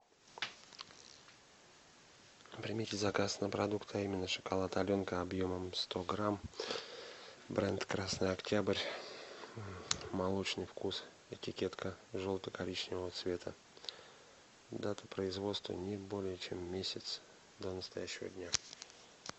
примите заказ на продукты а именно шоколад аленка объемом сто грамм бренд красный октябрь молочный вкус этикетка желто коричневого цвета дата производства не более чем месяц до настоящего дня